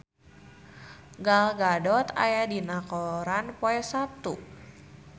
Gal Gadot aya dina koran poe Saptu